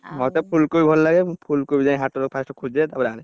ମତେ ଫୁଲକୋବି ଭଲ ଲାଗେ। ମୁଁ ଫୁଲକୋବି ଯାଇଁ ହାଟୁରୁ first ଖୋଜେ ତାପରେ ଆଣେ।